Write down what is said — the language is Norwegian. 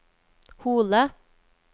Hole